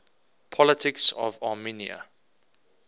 politics of armenia